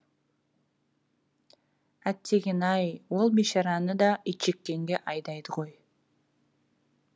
әттегене ай ол бейшараны да итжеккенге айдайды ғой